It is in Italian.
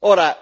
Ora,